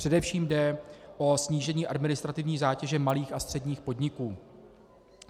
Především jde o snížení administrativní zátěže malých a středních podniků.